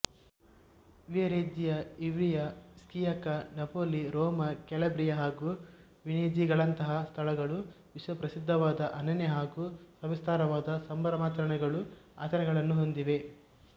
Viareggio Ivrea Sciacca Napoli Roma Calabria ಹಾಗೂ ವೆನೆಝಿಯಾಗಳಂತಹಾ ಸ್ಥಳಗಳು ವಿಶ್ವಪ್ರಸಿದ್ಧವಾದ ಅನನ್ಯ ಹಾಗೂ ಸವಿಸ್ತಾರವಾದ ಸಂಭ್ರಮಾಚರಣೆಗಳುಆಚರಣೆಗಳನ್ನು ಹೊಂದಿವೆ